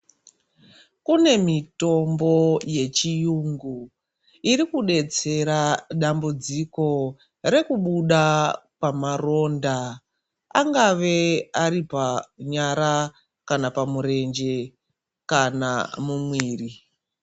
Kunemitombo, yechiyungu, irikudetsera dambudziko rekubuda pamaronda. Angave aripamyara, kana pamurenje, kana mumwiri.